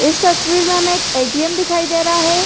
इस तस्वीर में हमें एक एटीएम दिखाई दे रहा है।